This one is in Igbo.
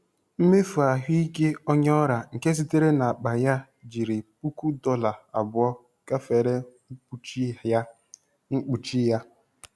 Mmefu ahụike onye ọrịa nke sitere n'akpa ya jiri puku dọla abụọ gafere mkpuchi ya. mkpuchi ya.